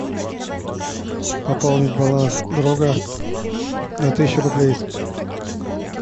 пополнить баланс друга на тысячу рублей